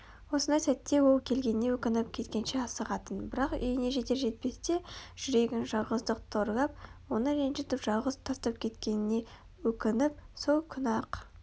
осындай сәтте ол келгеніне өкініп кеткенше асығатын бірақ үйіне жетер-жетпесте жүрегін жалғыздық торлап оны ренжітіп жалғыз тастап кеткеніне өкініп сол күні-ақ